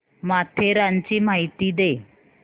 माथेरानची माहिती दे